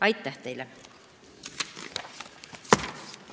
Aitäh teile!